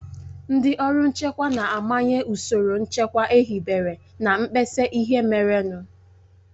Ndị ọrụ nchekwa na-amanye ụsoro nchekwa ehibere na mkpesa ihe merenụ.